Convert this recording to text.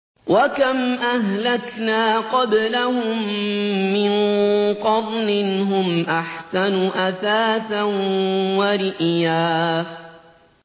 وَكَمْ أَهْلَكْنَا قَبْلَهُم مِّن قَرْنٍ هُمْ أَحْسَنُ أَثَاثًا وَرِئْيًا